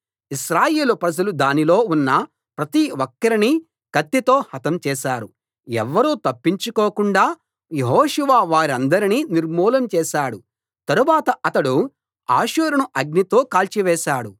ఇశ్రాయేలు ప్రజలు దానిలో ఉన్న ప్రతి ఒక్కరినీ కత్తితో హతం చేశారు ఎవ్వరూ తప్పించుకోకుండా యెహోషువ వారందరినీ నిర్మూలం చేశాడు తరువాత అతడు హాసోరును అగ్నితో కాల్చివేశాడు